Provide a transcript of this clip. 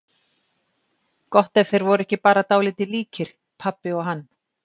Gott ef þeir voru ekki bara dálítið líkir, pabbi og hann.